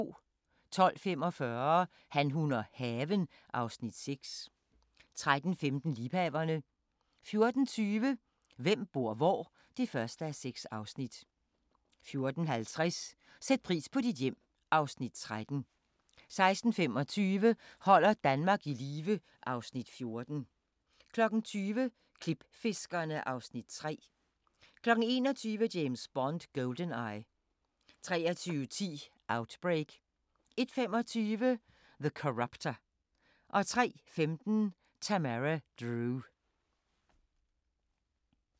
12:45: Han, hun og haven (Afs. 6) 13:15: Liebhaverne 14:20: Hvem bor hvor? (1:6) 14:50: Sæt pris på dit hjem (Afs. 13) 16:25: Holder Danmark i live (Afs. 14) 20:00: Klipfiskerne (Afs. 3) 21:00: James Bond: GoldenEye 23:10: Outbreak 01:25: The Corruptor 03:15: Tamara Drewe